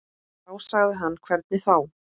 Þá sagði hann hvernig þá.